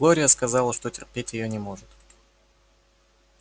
глория сказала что терпеть её не может